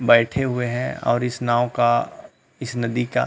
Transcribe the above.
बैठे हुए हैं और इस नाव का इस नदी का --